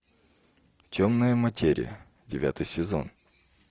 темная материя девятый сезон